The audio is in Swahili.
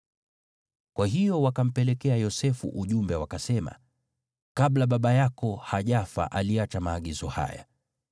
Kwa hiyo wakampelekea Yosefu ujumbe, wakasema, “Kabla baba yako hajafa aliacha maagizo haya: